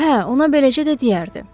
Hə, ona beləcə də deyərdi.